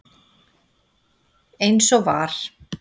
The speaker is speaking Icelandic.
eins og var.